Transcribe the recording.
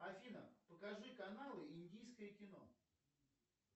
афина покажи каналы индийское кино